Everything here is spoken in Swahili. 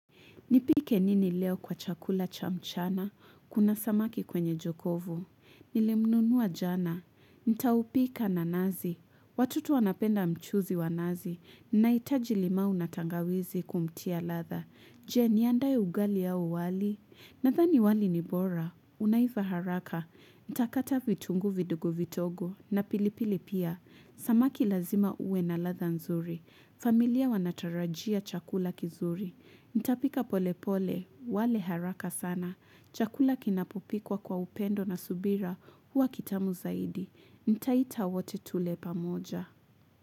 Nipike nini leo kwa chakula cha mchana? Kuna samaki kwenye jokofu. Nilimnunua jana. Nitaupika na nazi. Watoto wanapenda mchuzi wa nazi. Nahitaji limau na tangawizi kumtia ladha. Je, niandae ugali au uwali? Nadhani wali ni bora. Unaiva haraka. Nitakata vitunguu vidogo vidogo. Na pilipili pia. Samaki lazima uwe na ladha nzuri. Familia wanatarajia chakula kizuri. Nitapika pole pole. Wale haraka sana. Chakula kinapopikwa kwa upendo na subira. Huwa kitamu zaidi. Nitaita wote tule pamoja.